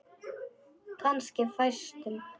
Kannski fæstum.